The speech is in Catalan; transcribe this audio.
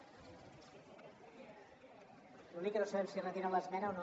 l’únic que no sabem si retiren l’esmena o no